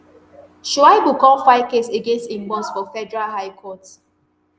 shaibu come file case against im boss for federal high court